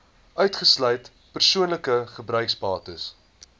uitgesluit persoonlike gebruiksbates